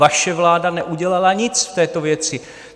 Vaše vláda neudělala nic v této věci.